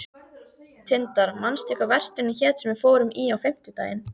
Tindar, manstu hvað verslunin hét sem við fórum í á fimmtudaginn?